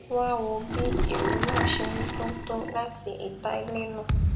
wá wo bí ìró náà ṣe ń dún tó láti ìta ilé náà